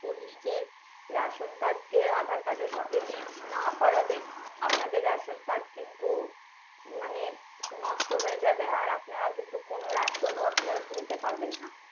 নিজের ration card কে aadhaar card এর সঙ্গে link না করলে আপনাদের ration card কিন্তু মানে নষ্ট হয়ে যাবে আপনারা কিন্তু কোনো ration ও তুলতে পারবেন না